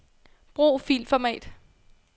Brug filformat.